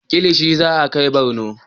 Kilishi za a kai Barno